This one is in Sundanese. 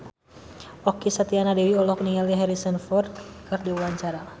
Okky Setiana Dewi olohok ningali Harrison Ford keur diwawancara